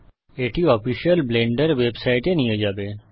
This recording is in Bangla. এটি অফিসিয়াল ব্লেন্ডার ওয়েবসাইটে নিয়ে যাবে